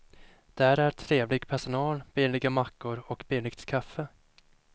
Där är trevlig personal, billiga mackor och billigt kaffe.